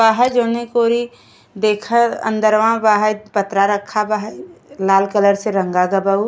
बा है जौने कोरि देखै अंदरवा बाहै पत्रा रखा बा हई लाल कलर रंगा गै बा उ।